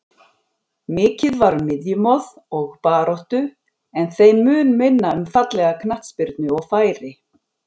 Mikið var um miðjumoð og baráttu en þeim mun minna um fallega knattspyrnu og færi.